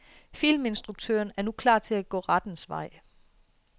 Filminstruktøren er nu klar til at gå rettens vej.